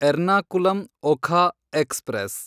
Ernakulam Okha express